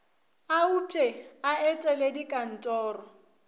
a upše a etele dikantoro